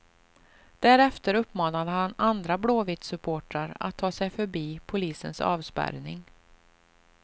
Därefter uppmanade han andra blåvittsupportrar att ta sig förbi polisens avspärrning.